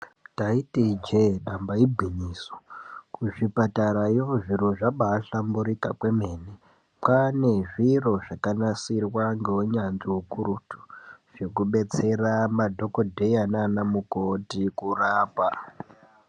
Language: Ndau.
Taiti ijee damba igwinyiso, kuzvipatarayo zviro zvabaahlamburika kwemene. Kwaane zviro zvakanasirwa ngeunyanzvi hukurutu zvekudetsera madhogodheya naana mukoti kurapa.